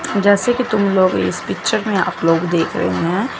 जैसे कि तुम लोग इस पिक्चर में आप लोग देख रहे हैं।